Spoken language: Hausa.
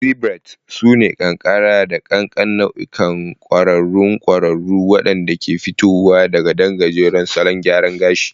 Pixie Braids sune ƙanƙara da ƙanƙan nau'ikan ƙwararrun ƙwararru waɗanda ke fitowa daga ɗan gajeren salon gyara gashi.